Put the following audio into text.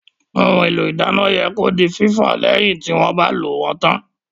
Ohun èlò ìdáná yẹ kí ó di fífọ̀ lẹ́yìn tí wọ́n bá lò wón tán